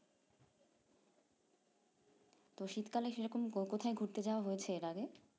তো শীতকালে সেরকম কোকোথায় ঘুরতে যাওয়া হয়েছে এর আগে